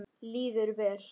Líður vel.